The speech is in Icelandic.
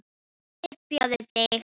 Hypjaðu þig.